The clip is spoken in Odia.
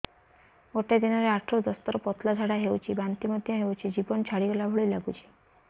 ଗୋଟେ ଦିନରେ ଆଠ ରୁ ଦଶ ଥର ପତଳା ଝାଡା ହେଉଛି ବାନ୍ତି ମଧ୍ୟ ହେଉଛି ଜୀବନ ଛାଡିଗଲା ଭଳି ଲଗୁଛି